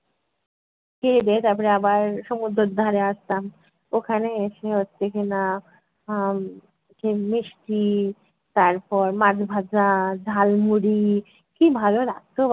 খেয়ে দেয়ে তারপরে আবার সমুদ্রর ধারে আসতাম ওখানে এসে হচ্ছে কি-না আহ মিষ্টি, তারপর মাছ ভাজা, ঝাল মুড়ি কী ভালো লাগতো